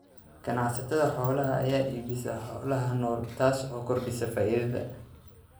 Ganacsatada xoolaha ayaa ka iibsada xoolaha nool, taas oo kordhisa faa'iidada.